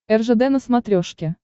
ржд на смотрешке